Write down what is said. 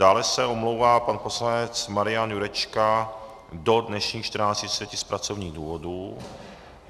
Dále se omlouvá pan poslanec Marian Jurečka do dnešních 14.30 z pracovních důvodů.